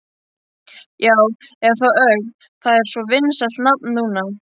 Já, eða þá Ögn, það er svo vinsælt nafn núna.